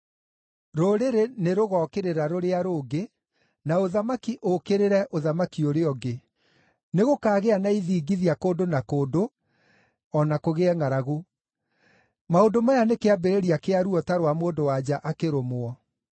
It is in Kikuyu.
Rũrĩrĩ nĩrũgookĩrĩra rũrĩa rũngĩ, na ũthamaki ũũkĩrĩre ũthamaki ũrĩa ũngĩ. Nĩgũkaagĩa na ithingithia kũndũ na kũndũ, o na kũgĩe ngʼaragu. Maũndũ maya nĩ kĩambĩrĩria kĩa ruo ta rwa mũndũ-wa-nja akĩrũmwo.